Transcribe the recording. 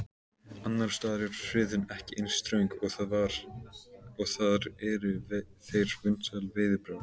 Annars staðar er friðun ekki eins ströng og þar eru þeir vinsæl veiðibráð.